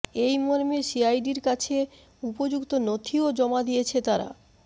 এই মর্মে সিআইডির কাছে উপযুক্ত নথিও জমা দিয়েছে তারা